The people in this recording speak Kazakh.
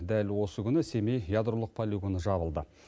дәл осы күні семей ядролық полигоны жабылды